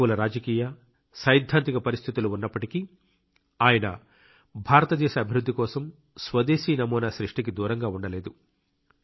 ప్రతికూల రాజకీయ సైద్ధాంతిక పరిస్థితులు ఉన్నప్పటికీ ఆయన భారతదేశ అభివృద్ధి కోసం స్వదేశీ నమూనా సృష్టికి దూరంగా ఉండలేదు